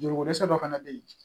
Joliko dɛsɛ dɔ fana bɛ yen